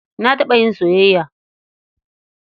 Na taɓa yin soyayya.